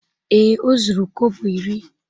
Ee, o zuru kobo iri.